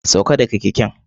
Sauka daga keken!